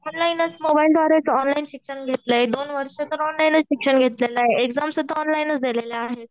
ऑनलाइनच मोबाईल द्वारे तू ऑनलाईन शिक्षण घेतलंय. दोन वर्ष ऑनलाइनच शिक्षण घेतलंय. एक्झाम सुद्धा ऑनलाइनच दिलेल्या आहेत.